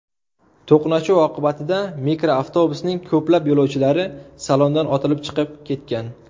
To‘qnashuv oqibatida mikroavtobusning ko‘plab yo‘lovchilari salondan otilib chiqib ketgan.